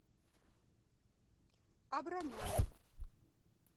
абрамяна